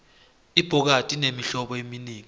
ibhokadi inemihlobo eminengi